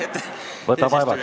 Võta vaevaks, ole hea!